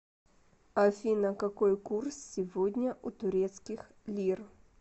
афина какой курс сегодня у турецких лир